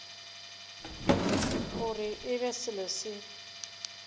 gore e be selo se